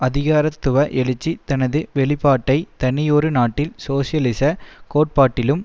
அதிகாரத்துவ எழுச்சி தனது வெளிப்பாட்டை தனியொரு நாட்டில் சோசியலிச கோட்பாட்டிலும்